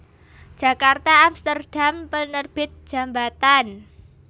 Djakarta Amsterdam Penerbit Djambatan